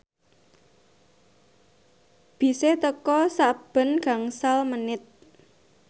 bise teka sakben gangsal menit